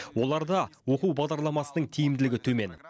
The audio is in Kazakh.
оларда оқу бағдарламасының тиімділігі төмен